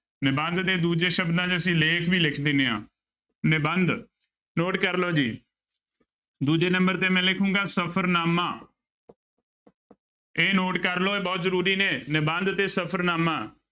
ਨਿਬੰਧ ਦੇ ਦੂਜੇ ਸ਼ਬਦਾਂ ਚ ਅਸੀਂ ਲੇਖ ਵੀ ਲਿਖ ਦਿੰਦੇ ਹਾਂ ਨਿਬੰਧ note ਕਰ ਲਓ ਜੀ ਦੂਜੇ number ਤੇ ਮੈਂ ਲਿਖਾਂਗਾ ਸਫ਼ਰਨਾਮਾ ਇਹ note ਕਰ ਲਓ ਇਹ ਬਹੁਤ ਜ਼ਰੂਰੀ ਨੇ, ਨਿਬੰਧ ਤੇ ਸਫ਼ਨਾਮਾ।